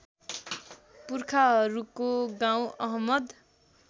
पुर्खाहरूको गाउँ अहमद